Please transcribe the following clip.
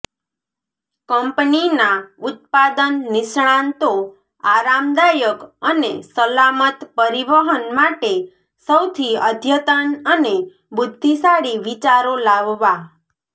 કંપનીના ઉત્પાદન નિષ્ણાતો આરામદાયક અને સલામત પરિવહન માટે સૌથી અદ્યતન અને બુદ્ધિશાળી વિચારો લાવવા